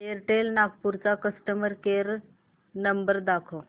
Airtel Nagpur चा customer care number दाखव